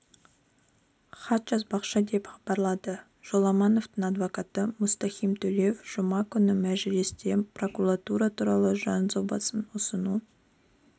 хат жазбақшы деп хабарлады жоламановтың адвокаты мұстахим төлеев жұма күні мәжілісте прокуратура туралы заңжобасын ұсыну